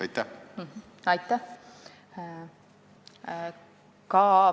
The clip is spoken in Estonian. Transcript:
Aitäh!